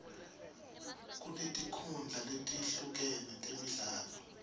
kunetinkhundla letehlukene temidlalo